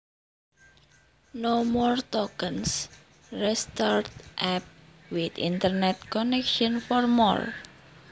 No more tokens. Restart app with internet connection for more.